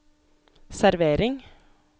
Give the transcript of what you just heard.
servering